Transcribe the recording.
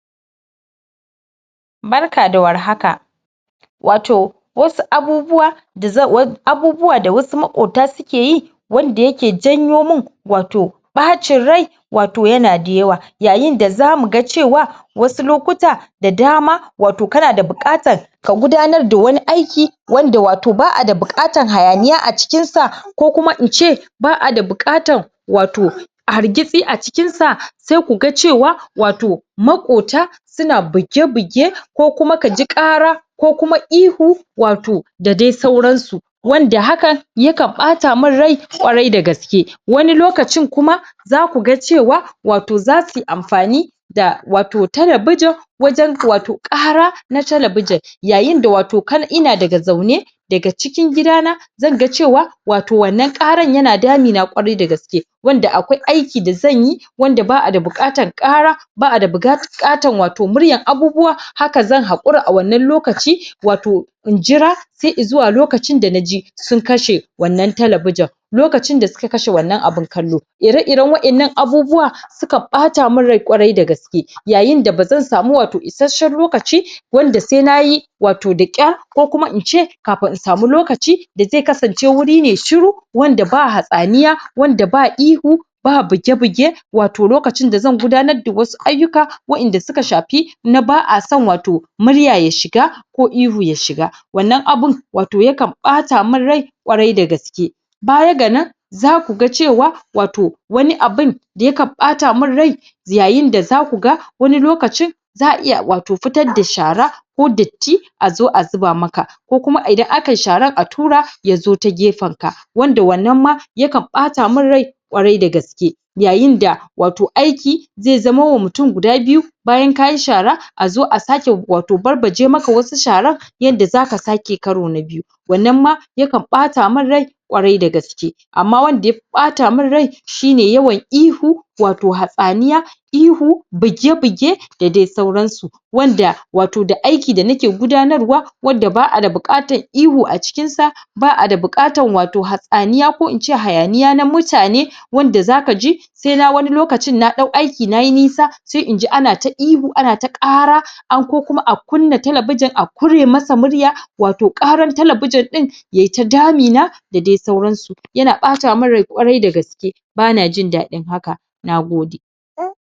Barka da warhaka, wato wasu abubuwa da wasu maƙota suke yi wanda yake janyomin ɓacin rai wato yana da yawa. Yayin da zamu ga cewa wasu lokuta da dama wato kana da buƙatan ka gudanar da wani aiki wanda ba'a da wato buƙatan hayaniya a cikinsa ko kuma ince ba a da buƙatan wato hargitsi a cikinsa. Sai ku ga cewa maƙota suna buge-buge ko kuma ka ji ƙara ko kuma ihu wato da dai sauransu, wanda hakan ya kan ɓatamun rai ƙwarai da gaske. Wani lokacin kuma, za ku ga cewa wato za suyi amfani da wato talabijin wajen wato ƙaran talabijin yayin da watau kar ina daga zaune daga cikin gidana zan ga cewa wannan ƙaran yana damuna ƙwarai da gaske. Wanda akwai aiki da zan yi wanda ba a da buƙatan ƙara, ba a da buƙatar wato murya abubuwa, haka zan haƙira a wannan lokaci wato in jira sa i zuwa lokacin da na ji sun kashe wannan talabijin. Lokacin da suka kashe wannan abun kallo. Ire-iren waɗannan abubuwa sukan ɓata min rai ƙwarai da gaske yayin da ba zan samu isasshen lokaci wanda sai nayi da ƙyar ko kuma in ce kafin in samu lokaci da zai kasance wuri ne shuru wanda ba hatsaniya, wanda ba ihu, ba buge-buge wato lokacin da zan gudanar da wasu ayyuka waɗanda auka shafi ba'ason murya ya shiga ko ihu ya shiga. Wannan abun wato yakan ɓata min rai ƙwarai da gaske. Baya ga nan za ku ga cewa wato wani abun da ya kan ɓata min rai yayin da za ku ga wato wani lokacin za'a iya wato fitar da shara ko datti a zo a zuba maka ko kuma idan akayi sharan a tura ya zo ta gefenka. Wanda wannan ma ya kan ɓata min rai ƙwarai da gaske. Yayin da wato aiki zai zamo wa mutum guda biyu bayan ka yi shara a zo a sake wato barbaje maka wasu sharan yadda za ka sake karo na biyu. Wannan ma yakan ɓata min rai ƙwarai da gaske. Amma wanda ya fi ɓata min rai shi ne yawan ihu wato hatsaniya, ihu buge- buge da dai sauransu wanda wato aiki da nake gudanarwa wanda ba a da buƙatar ihu a cikinsa, ba a da buƙatar hatsaniya ko in ce hayaniya na mutane wanda za ka ji sai na wani lokacin na ɗau aiki na yi nisa sai in ji ana ta ihu ana ta ƙara an ko kuma a kunna talabijin a ƙure masa murya, wato ƙarar talabijin ɗin yayi ta damuna da dai sauransu. Yana ɓata min rai ƙwarai da gaske, bana jin daɗin haka. Na gode.